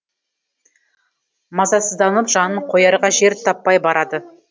мазасызданып жанын қоярға жер таппай барады